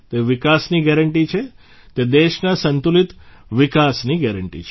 તે વિકાસની ગેરંટી છે તે દેશના સંતુલિત વિકાસીન ગેરંટી છે